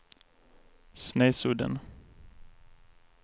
Snesudden